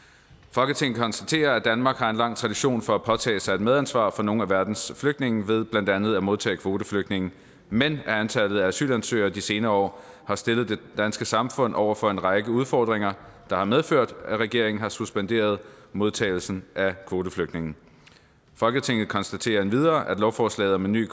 folketinget konstaterer at danmark har en lang tradition for at påtage sig et medansvar for nogle af verdens flygtninge ved blandt andet at modtage kvoteflygtninge men at antallet af asylansøgere de senere år har stillet det danske samfund over for en række udfordringer der har medført at regeringen har suspenderet modtagelsen af kvoteflygtninge folketinget konstaterer endvidere at lovforslaget om en ny